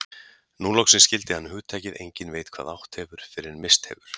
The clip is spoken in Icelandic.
Nú loksins skildi hann hugtakið enginn veit hvað átt hefur fyrr en misst hefur.